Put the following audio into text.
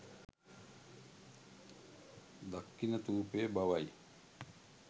දක්ඛිණථූපය බවයි.